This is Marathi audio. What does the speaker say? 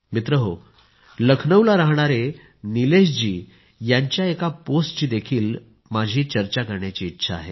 मित्रांनो लखनौला राहणाऱ्या निलेशजींच्या एका पोस्टची देखील चर्चा करायची इच्छा आहे